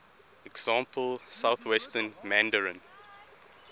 example southwestern mandarin